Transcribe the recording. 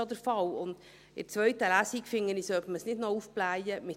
Ich finde, dass man die zweite Lesung nicht mit solchen Themen aufblähen sollte.